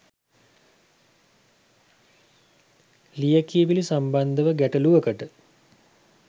ලියකියවිලි සම්බන්ධව ගැටලුවකට